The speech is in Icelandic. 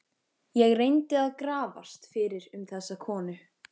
Ég reyndi að grafast fyrir um þessa konu.